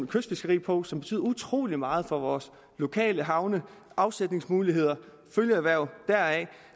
kystfiskeri på som betyder utrolig meget for vores lokale havne afsætningsmuligheder følgeerhverv